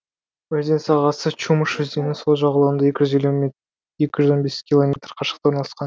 өзен сағасы чумыш өзенінің сол жағалауынан екі жүз он бес километр қашықта орналасқан